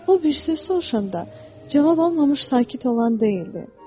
O bir söz soruşanda cavab almamış sakit olan deyildi.